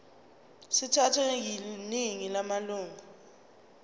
sithathwe yiningi lamalunga